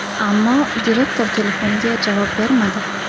Ammo direktor telefoniga javob bermadi.